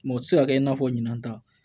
Mɔ ti se ka kɛ i n'a fɔ ɲinan ta